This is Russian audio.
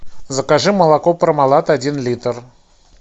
закажи молоко пармалат один литр